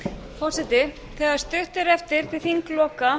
forseti þegar stutt er eftir til þingloka